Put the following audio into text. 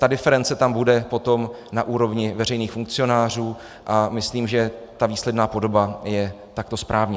Ta diference tam bude potom na úrovni veřejných funkcionářů a myslím, že ta výsledná podoba je takto správně.